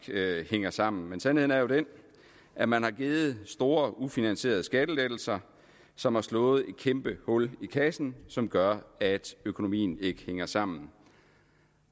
hænger sammen men sandheden er jo den at man har givet store ufinansierede skattelettelser som har slået et kæmpehul i kassen som gør at økonomien ikke hænger sammen